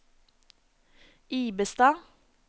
Ibestad